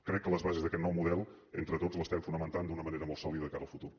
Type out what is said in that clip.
crec que les bases d’aquest nou model entre tots les estem fonamentant d’una manera molt sòlida de cara al futur